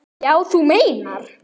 Já, þú meinar.